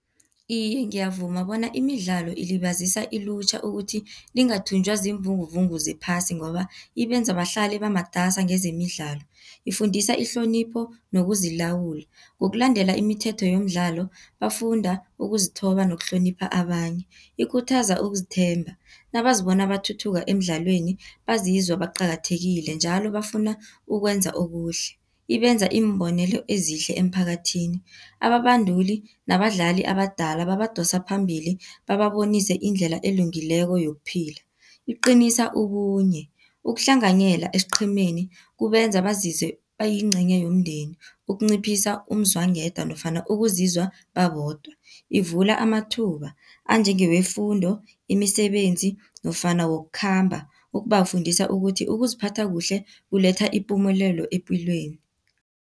Iye, ngiyavuma bona imidlalo ilibazisa ilutjha ukuthi lingathunjwa ziimvunguvungu zephasi, ngoba ibenza bahlale bamatasa ngezemidlalo. Ifundisa ihlonipho nokuzilawula, ngokulandela imithetho yomdlalo bafunda ukuzithoba nokuhlonipha abanye, Ikhuthaza ukuzithemba, nabazibona bathuthuka emidlalweni bazizwa baqakathekile njalo bafuna ukwenza okuhle. Ibenza iimbonelo ezihle emphakathini, ababanduli nabadlali abadala babadosa phambili bababonise indlela elungileko yokuphila. Iqinisa ubunye, ukuhlanganyela esiqhemeni kubenza bazizwe bayincenye yomndeni ukunciphisa umzwangedwa nofana ukuzizwa babodwa. Ivula amathuba anjengewefundo, imisebenzi nofana wokukhamba ukubafundisa ukuthi ukuziphatha kuhle kuletha ipumelelo epilweni.